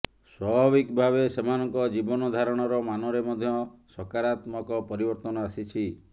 ସ୍ୱାଭାବିକ ଭାବେ ସେମାନଙ୍କ ଜୀବନ ଧାରଣର ମାନରେ ମଧ୍ୟ ସକାରାତ୍ମକ ପରିବର୍ତ୍ତନ ଆସିଛି